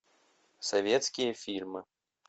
советские фильмы